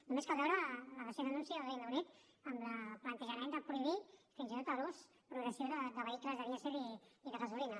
només cal veure el recent anunci al regne unit en el plantejament de prohibir fins i tot l’ús progressiu de vehicles de dièsel i de gasolina